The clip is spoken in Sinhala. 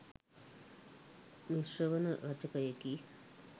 මිශ්‍රවන රචකයෙකි.